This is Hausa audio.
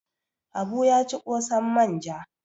Habu ya ci ƙosan manja.